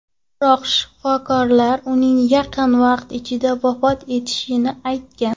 Biroq, shifokorlar uning yaqin vaqt ichida vafot etishini aytgan.